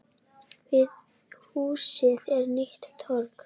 Við húsið er nýtt torg.